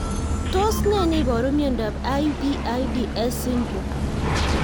Tos nee neiparu miondop IBIDS syndrome